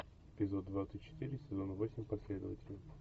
эпизод двадцать четыре сезон восемь последователи